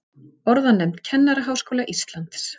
Orðanefnd Kennaraháskóla Íslands.